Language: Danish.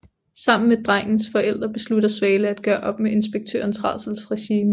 Sammen med drengens forældre beslutter Svale at gøre op med inspektørens rædselsregime